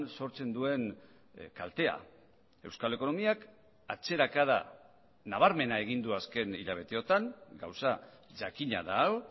sortzen duen kaltea euskal ekonomiak atzerakada nabarmena egin du azken hilabeteotan gauza jakina da hau